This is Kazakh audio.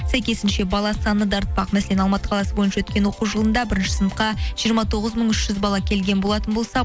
сәйкесінше бала саны да артпақ мәселен алматы қаласы бойынша өткен оқу жылында бірінші сыныпқа жиырма тоғыз мың үш жүз бала келген болатын болса